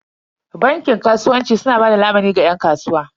Bankin kasuwanci su na bada lamuni ga yan kasuwa.